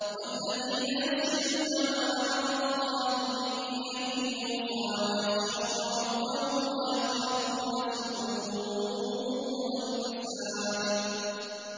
وَالَّذِينَ يَصِلُونَ مَا أَمَرَ اللَّهُ بِهِ أَن يُوصَلَ وَيَخْشَوْنَ رَبَّهُمْ وَيَخَافُونَ سُوءَ الْحِسَابِ